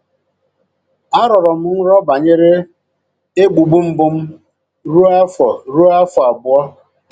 Arọrọ m nrọ banyere egbugbu mbụ m rụọ afọ rụọ afọ abụọ